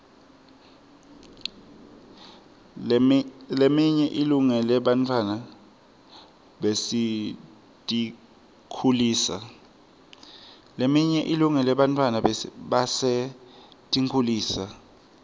leminye ilungele bantfwana basetinkhulisa